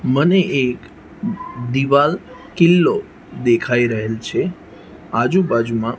મને એક દીવાલ કિલ્લો દેખાય રહેલ છે આજુ બાજુમાં--